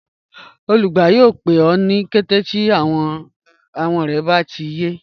Olùgbà yọọ̀ pẹ̀ ọ ni kẹtẹ̀ ti awọn rẹ̀ bá ti yẹ